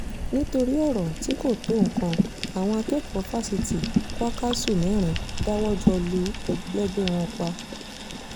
nítorí ọ̀rọ̀ tí kò tó nǹkan àwọn akẹ́kọ̀ọ́ fásitì kwakásù mẹ́rin dáwọ́ jọ lu ẹlẹgbẹ́ wọn pa